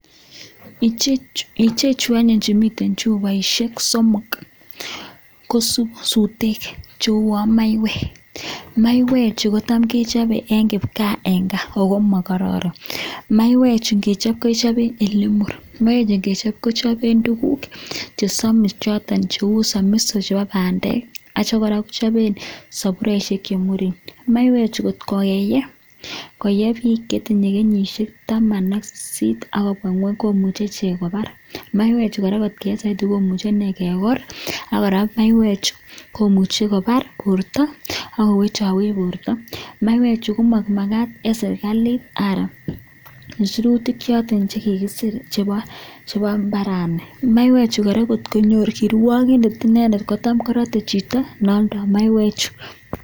Ichechu anyun chemiten chuboishek somok ko sutek cheuwon maiywek, maiywechu kotam kechobe en kipkaa en gaa ago mogororon. Maiywechu ngechob, kechoben ele mur, kichoben tuguk chesomis choton cheu somiso chebo bandek ak kityo kora , kechoben soburiosiek che muren. Maiywechu ngot keyee, kot koyee biik che tinye kenyishek taman ak sisit ak kobwa ngweny komuch ichek kobar. Maiywechu kot keyee soiti kimuche kegor ak kora maiywechu komuche kobar borto ago wechowech borto. Maiywechu komamagat en serkalit anan en sirutik choto che kigisir chebo mbarani. Maiywechu kora ngot konyor kirwagindet kora kotam korote chito ne alda maiywechu.